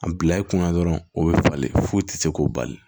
A bila i kunna dɔrɔn o bɛ falen foyi tɛ se k'o bali